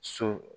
So